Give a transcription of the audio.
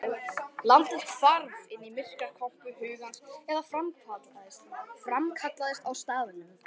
Landið hvarf inn í myrkrakompu hugans eða framkallaðist á staðnum.